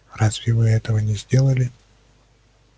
разве вы этого не сделали